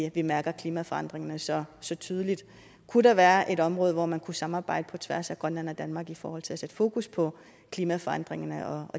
at vi mærker klimaforandringerne så så tydeligt kunne der være et område hvor man kunne samarbejde på tværs af grønland og danmark i forhold til at sætte fokus på klimaforandringerne og